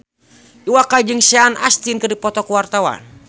Iwa K jeung Sean Astin keur dipoto ku wartawan